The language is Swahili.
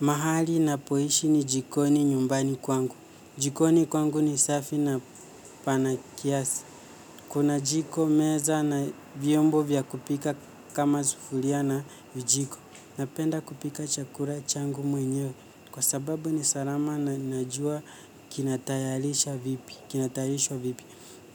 Mahali ninapoishi ni jikoni nyumbani kwangu. Jikoni kwangu ni safi na pana kiasi. Kuna jiko, meza na vyombo vya kupika kama sufuria na vijiko. Napenda kupika chakula changu mwenyewe. Kwa sababu ni salama na ninajua kinatayarisha vipi. Kinatayarishwa vipi,